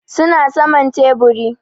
Su na saman teburi.